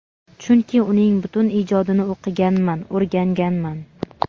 chunki uning butun ijodini o‘qiganman, o‘rganganman.